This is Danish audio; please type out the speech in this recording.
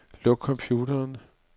Luk computeren.